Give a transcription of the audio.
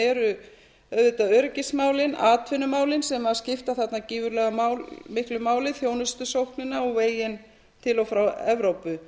eru auðvitað öryggismálin atvinnumálin sem skipta þarna gífurlega miklu máli þjónustusóknina og veginn til og frá evrópu